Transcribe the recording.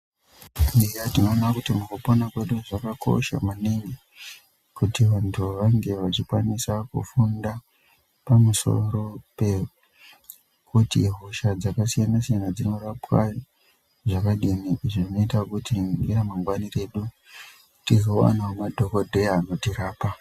Tikaningira tinoona kuti mukupona kwedu zvakakosha maningi kuti vantu vange vachikwanisa kufunda pamusoro pekuti hosha dzakasiyana siyana dzinorapwa zvakadini zvinoita kuti mune ramangwani redu tizowana madhokodheya anotirapa.